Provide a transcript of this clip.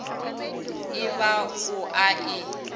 e ba o a e